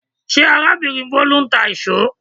Ṣé arábìnrin Bolu ń tà íṣo?